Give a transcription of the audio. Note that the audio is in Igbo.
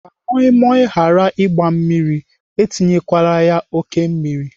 Ka moi moi ghara ịgba mmiri, etinyekwala ya oké mmiri.